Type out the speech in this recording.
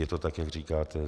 Je to tak, jak říkáte.